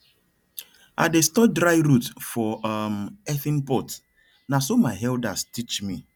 i dey store dry root for um earthen pot na so my elders teach me